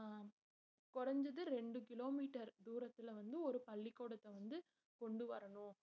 குறைஞ்சது ரெண்டு kilometer தூரத்துல வந்து ஒரு பள்ளிக்கூடத்தை வந்து கொண்டு வரணும்